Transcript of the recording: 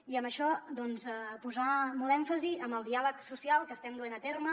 i en això doncs posar molt èmfasi en el diàleg social que estem duent a terme